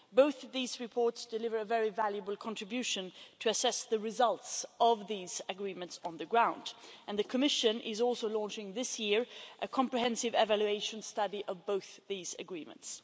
Both of these reports deliver a very valuable contribution to assess the results of these agreements on the ground and the Commission is also launching this year a comprehensive evaluation study of both these agreements.